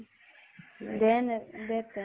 দে নে । দে তেনে